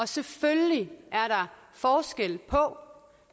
selvfølgelig er der forskel på